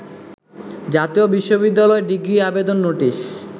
জাতীয় বিশ্ববিদ্যালয় ডিগ্রি আবেদন নোটিশ